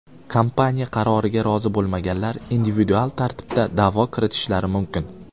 Kompaniya qaroriga rozi bo‘lmaganlar individual tartibda da’vo kiritishlari mumkin .